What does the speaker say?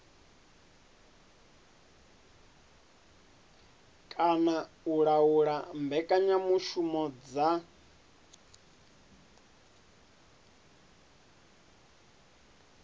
kana u laula mbekanyamushumo dza